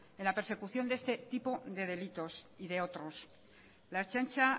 en la persecución de este tipo de delitos y de otros la ertzaintza